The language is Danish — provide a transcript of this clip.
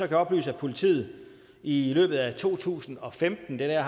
jeg oplyse at politiet i løbet af to tusind og femten det er